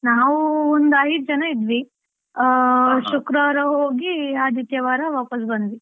ನಾವು ಒಂದು ಐದು ಜನ ಇದ್ವಿ, ಆ ಶುಕ್ರವಾರ ಹೋಗಿ ಆದಿತ್ಯವಾರ ವಾಪಾಸ್ ಬಂದ್ವಿ.